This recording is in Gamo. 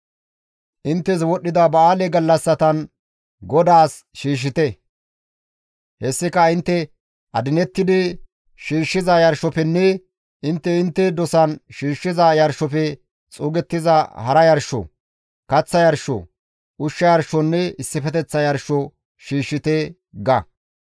« ‹Inttes wodhdhida ba7aale gallassatan GODAAS shiishshite; hessika intte adinettidi shiishshiza yarshofenne intte intte dosan shiishshiza yarshofe xuugettiza hara yarsho, kaththa yarsho, ushsha yarshonne issifeteththa yarsho shiishshite› ga.»